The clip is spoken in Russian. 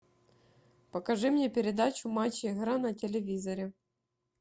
покажи мне передачу матч игра на телевизоре